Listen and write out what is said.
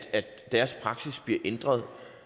deres praksis bliver ændret